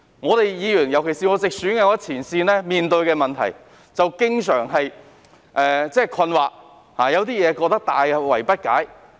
我們作為議員，尤其是我是直選議員，在前線面對問題時經常感到困惑、大惑不解。